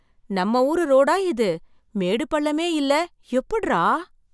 நம்ம ஊரு ரோடா இது மேடு பள்ளமே இல்ல! எப்புட்றா!